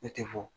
Ne tɛ fɔ